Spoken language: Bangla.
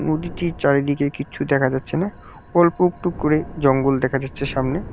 নদীটির চারিদিকে কিচ্ছু দেখা যাচ্ছে না অল্প একটু করে জঙ্গল দেখা যাচ্ছে সামনে।